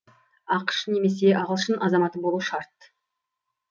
ақш немесе ағылшын азаматы болуы шарт